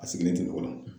A sigilen tɛ mɔgɔ la